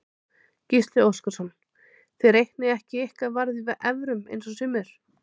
Gísli Óskarsson: Þið reiknið ekki ykkar verð í evrum eins og sumir?